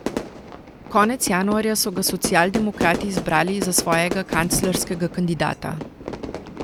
Konec januarja so ga socialdemokrati izbrali za svojega kanclerskega kandidata.